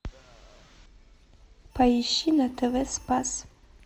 поищи на тв спас